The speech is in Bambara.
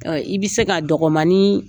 I bɛ se ka dɔgɔmanin